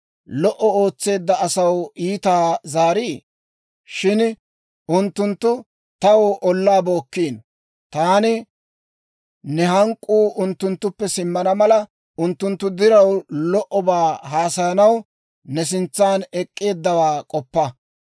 Lo"o ootseedda asaw iitaa zaariii? Shin unttunttu taw ollaa bookkiino. Taani ne hank'k'uu unttunttuppe simmana mala, unttunttu diraw lo"obaa haasayanaw ne sintsan ek'k'eeddawaa k'oppa.